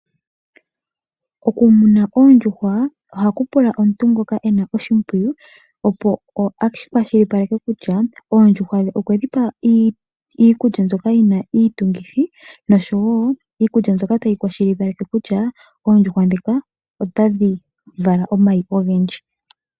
Okumuna oondjuhwa ohaku pula omuntu ngoka ena oshipwiyu opo a kwashilipaleke kutya oondjuhwa dhe okwe dhipa iikulya mbyoka yina iitungithi nosho wo iikulya mboka tayi kwashilipaleke kutya oondjuhwa dhika otadhi vala omayi ogendji.